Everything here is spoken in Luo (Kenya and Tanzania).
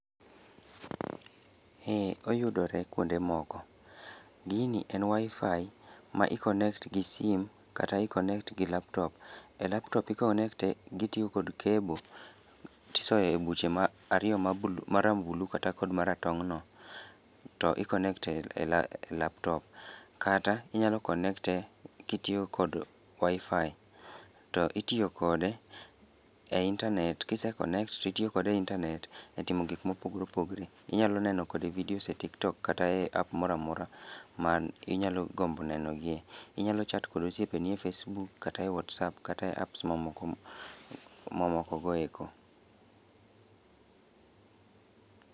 Ee oyudore kwonde moko. Gini en Wi-Fi, ma i connect gi sim, kata i connect gi laptop. E laptop i connect e gitiyo kod cable tisoe e buche ma ariyo ma blue ma rambulu kata kod maratong' no, to i connect e ela e laptop. Kata, inyalo connect e kitiyo kod Wi-Fi. To itiyo kode e internet kise connect titiyo kode e internet e timo gik mopogre opogre. Inyalo neno kode videos e TikTok kata e app moramora man inyalo gombo neno gie. Inyalo chat kod osiepeni e Facebook kata e WhatsApp kata e apps mamoko mamoko go eko